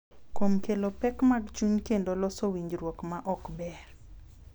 Kuom kelo pek mag chuny kendo loso winjruok ma ok ber.